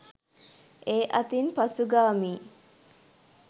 ඒ අතින් පසුගාමීයි.